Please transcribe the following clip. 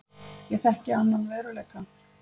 Ég þekki annan veruleika.